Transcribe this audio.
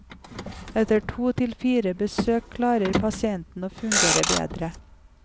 Etter to til fire besøk klarer pasienten å fungere bedre.